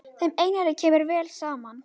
Þeim Einari kemur vel saman.